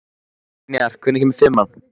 Brynjar, hvenær kemur fimman?